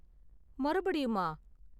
மறுபடியுமா?